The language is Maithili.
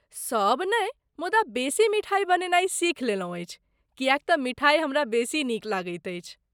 सभ नहि, मुदा बेसी मिठाइ बनेनाइ सीख लेलहुँ अछि किएक तँ मिठाइ हमरा बेसी नीक लागैत अछि।